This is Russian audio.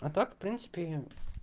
а так в принципе